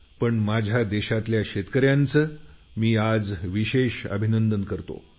पण माझ्या देशातल्या शेतकऱ्याचं मी आज विशेष अभिनंदन करतो